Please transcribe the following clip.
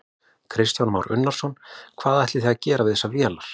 Kristján Már Unnarsson: Hvað ætlið þið að gera við þessar vélar?